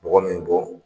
Bɔgɔ min bɔ